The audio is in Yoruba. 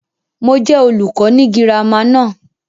Mo jẹ olùkọ́ ni girama náà.